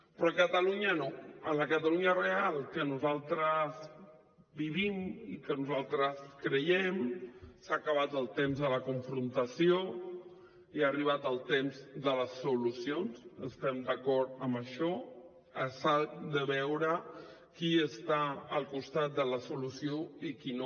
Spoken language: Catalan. però a catalunya no a la catalunya real que nosaltres vivim i en què nosaltres creiem s’ha acabat el temps de la confrontació i ha arribat el temps de les solucions estem d’acord amb això que s’ha de veure qui està al costat de la solució i qui no